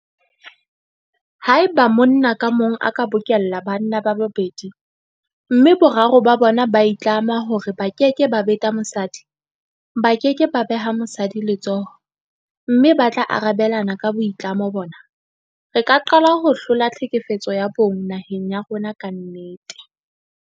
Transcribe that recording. Haeba monna ka mong a ka bokella banna ba babedi mme boraro ba bona ba itlama hore ba keke ba beta mosadi, ba ke ke ba beha mosadi letsoho mme ba tla arabelana ka boitlamo bona, re ka qala ho hlola tlhekefetso ya bong naheng ya rona ka nnete.